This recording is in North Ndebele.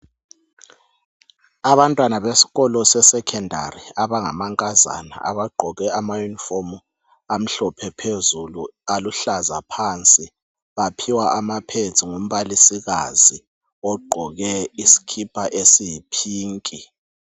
Abantwana besikolo seSekhondari abangamankazana abagqoke amayunifomu amhlophe phezulu aluhlaza phansi baphiwa ama"pads" ngumbalisikazi ogqoke isikipa esiyi"pink".